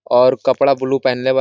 और कपड़ा ब्लू पहन ले बा।